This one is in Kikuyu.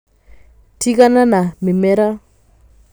Tigana na mĩmera